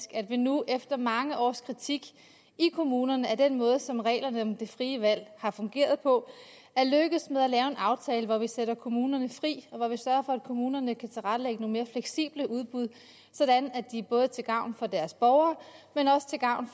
at vi nu efter mange års kritik i kommunerne af den måde som reglerne om det frie valg har fungeret på er lykkedes med at lave en aftale hvor vi sætter kommunerne fri og hvor vi sørger for at kommunerne kan tilrettelægge nogle mere fleksible udbud sådan at de både er til gavn for deres borgere